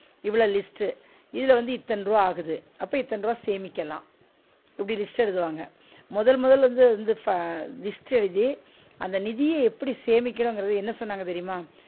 இவ்ள list உ இதுல வந்து இத்தன்ருவா ஆகுது, அப்ப இத்தன ருவா சேமிக்கலாம் இப்டி list எழுதுவாங்க, முதல் முதல்ல வந்து அது வந்து list எழுதி அந்த நிதிய எப்டி சேமிக்கனுங்கரத என்ன சொன்னாங்க தெரியுமா?